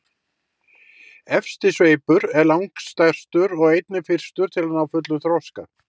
efsti sveipur er langstærstur og einnig fyrstur að ná fullum þroska